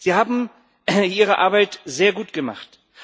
Sie haben Ihre Arbeit sehr gut gemacht.